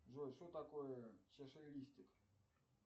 джой что такое чашелистик